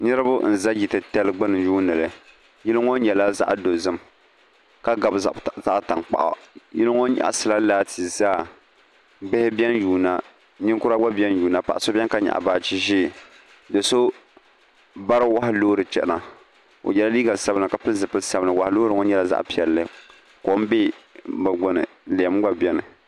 niriba n-za yil'titali gbuni n-yuuni li yili ŋɔ nyɛla zaɣ'dozim ka gbabi zaɣ zaɣ'tankpaɣu yili ŋɔ nyɛɣisila laati zaa bihi beni yuuna ninkura gba beni yuuna paɣ'so beni ka nyɛɣi baaji ʒee do'so bari wahu loori chana o yela liiga sabinli ka pili zupil'sabinli wahu loori ŋɔ nyɛla zaɣ'piɛlli kom be bɛ gbuni lɛm gba beni